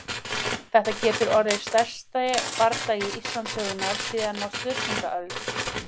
Þetta getur orðið stærsti bardagi Íslandssögunnar síðan á Sturlungaöld!